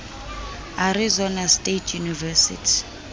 arizona state university